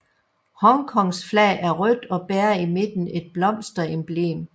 Hongkongs flag er rødt og bærer i midten et blomsteremblem